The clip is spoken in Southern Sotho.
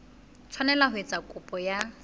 tshwanela ho etsa kopo ya